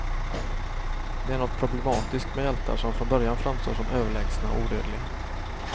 Det är något problematiskt med hjältar som från början framstår som överlägsna och odödliga.